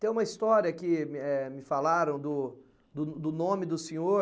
Tem uma história que eh, me falaram do do do nome do senhor.